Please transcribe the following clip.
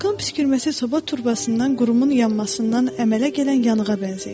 Vulkan püskürməsi soba turbasından qurumun yanmasından əmələ gələn yanığa bənzəyir.